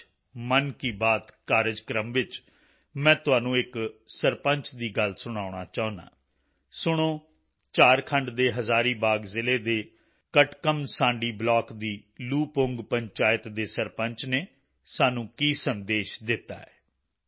ਅੱਜ ਮਨ ਕੀ ਬਾਤ ਕਾਰਜਕ੍ਰਮ ਵਿੱਚ ਮੈਂ ਤੁਹਾਨੂੰ ਇੱਕ ਸਰਪੰਚ ਦੀ ਗੱਲ ਸੁਣਾਉਣਾ ਚਾਹੁੰਦਾ ਹਾਂ ਸੁਣੋ ਝਾਰਖੰਡ ਦੇ ਹਜ਼ਾਰੀਬਾਗ ਜ਼ਿਲ੍ਹੇ ਦੇ ਕਟਕਮਸਾਂਡੀ ਬਲਾਕ ਦੀ ਲੂਪੁੰਗ ਪੰਚਾਇਤ ਦੇ ਸਰਪੰਚ ਨੇ ਸਾਨੂੰ ਕੀ ਸੰਦੇਸ਼ ਦਿੱਤਾ ਹੈ